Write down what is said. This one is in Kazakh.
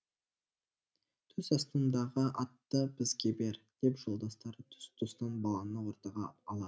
түс астыңдағы атты бізге бер деп жолдастары тұс тұстан баланы ортаға алады